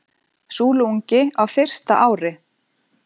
Súluungi á fyrsta ári.